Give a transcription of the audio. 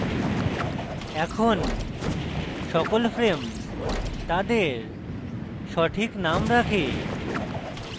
এখন সকল frames তাদের সঠিক names রাখে